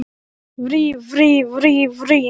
Var Steindór hjá þér, spyr Alma.